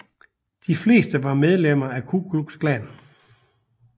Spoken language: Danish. De fleste var medlem af Ku Klux Klan